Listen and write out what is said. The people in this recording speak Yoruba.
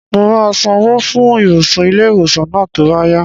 Mo máa san owó fún ibùsùn ilé-ìwòsàn náà tó bá yá